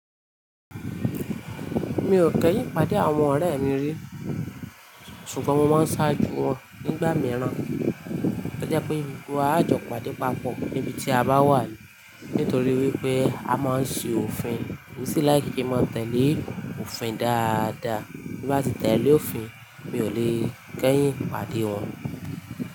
Mi ò kẹ́yìn pàdé àwọn ọ̀rẹ́ mi rí, ṣùgbọ́n mo máa ń ṣáájú wọn nígbà mìíràn. To jẹ pé gbogbo wa, á jọ pàdé papọ̀ níbi tí a bá wà ní, nítorí wípé a má ń ṣe òfin. Emi sì like kí n máa tẹ̀lé òfin dáadáa. Bí mo bá ti tẹ̀lé òfin, mi ò lè kẹ́yìn pàdé wọn.